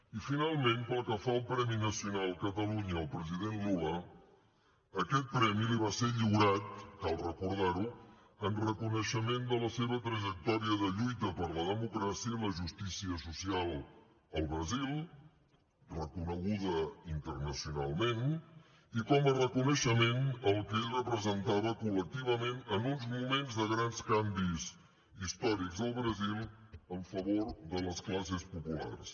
i finalment pel que fa al premi nacional catalunya al president lula aquest premi li va ser lliurat cal recordar ho en reconeixement de la seva trajectòria de lluita per la democràcia i la justícia social al brasil reconeguda internacionalment i com a reconeixement al que ell representava col·lectivament en uns moments de grans canvis històrics al brasil en favor de les classes populars